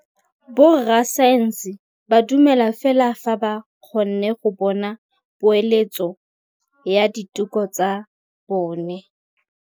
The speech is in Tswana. Borra saense ba dumela fela fa ba kgonne go bona poeletsô ya diteko tsa bone.